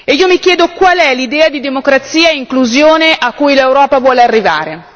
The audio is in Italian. Io mi chiedo qual è l'idea di democrazia e inclusione a cui l'Europa vuole arrivare.